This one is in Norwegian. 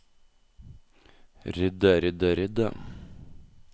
rydde rydde rydde